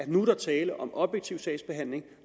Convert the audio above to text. nu er tale om objektiv sagsbehandling at